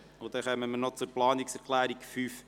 Dann kommen wir noch zur Planungserklärung 5.i.